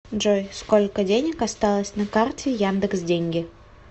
джой сколько денег осталось на карте яндекс деньги